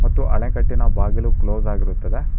ಮತ್ತು ಅಣೆಕಟ್ಟಿನ ಬಾಗಿಲು ಕ್ಲೋಸ್ ಆಗಿರುತ್ತದೆ.